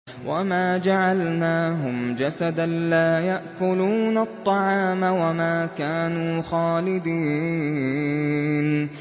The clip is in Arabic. وَمَا جَعَلْنَاهُمْ جَسَدًا لَّا يَأْكُلُونَ الطَّعَامَ وَمَا كَانُوا خَالِدِينَ